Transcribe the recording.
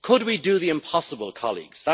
Could we do the impossible, colleagues?